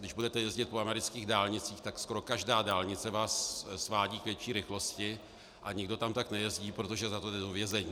Když budete jezdit po amerických dálnicích, tak skoro každá dálnice vás svádí k vyšší rychlosti a nikdo tam tak nejezdí, protože za to jde do vězení.